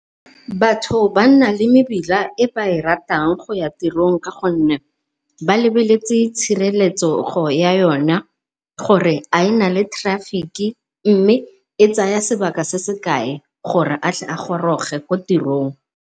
Batho ba nna le mebila e ba e ratang go ya tirong ka gonne ba lebeletse tshireletsego ya yona, gore a e na le traffic-ki mme e tsaya sebaka se se kae gore a tle a goroge ko tirong.